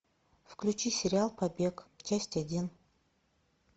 включи сериал побег часть один